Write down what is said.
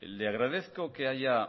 le agradezco que haya